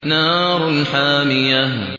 نَارٌ حَامِيَةٌ